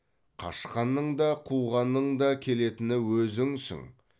қашқанның да қуғанның да келетіні өзіңсің